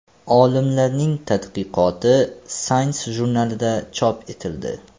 Olimlarning tadqiqoti Science jurnalida chop etildi .